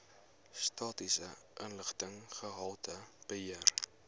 statistiese inligting gehaltebeheer